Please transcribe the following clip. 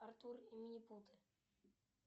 артур и минипуты